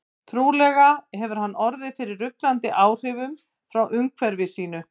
Trúlega hefur hann orðið fyrir ruglandi áhrifum frá umhverfi sínu.